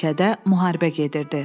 Ölkədə müharibə gedirdi.